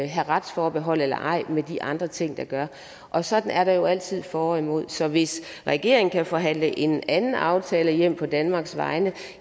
have retsforhold eller ej med de andre ting det gør og sådan er der jo altid for og imod så hvis regeringen kan forhandle en anden aftale hjem på danmarks vegne